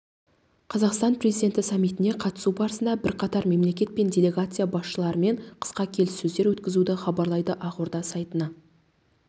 қазақстан президенті саммитіне қатысу барысында бірқатар мемлекет және делегация басшыларымен қысқа келіссөздер өткізді хабарлайды ақорда сайтына